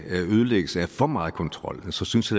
ødelægges af for meget kontrol så synes